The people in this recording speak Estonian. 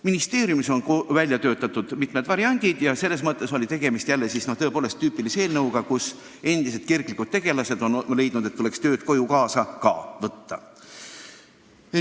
Ministeeriumis on välja töötatud mitmeid variante ja selles mõttes oli tegemist tõepoolest tüüpilise eelnõuga: endised kirglikud tegelased on leidnud, et tuleks tööd koju kaasa ka võtta.